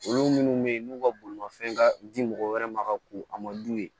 Olu minnu bɛ yen n'u ka bolimafɛn ka di mɔgɔw wɛrɛ ma ka ko a ma d'u ye